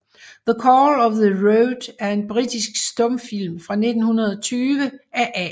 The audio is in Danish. The Call of the Road er en britisk stumfilm fra 1920 af A